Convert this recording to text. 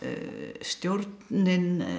stjórnin